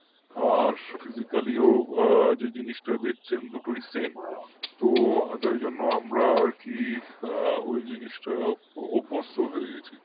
আর physically ও যে জিনিসটা দেখছেন সেটাও same তো তাই জন্য আমরা আর কি আ ওই জিনিসটা অভ্যস্ত হয়ে গেছি